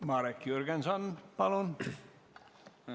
Marek Jürgenson, palun!